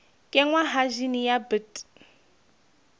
kenngwa ha jine ya bt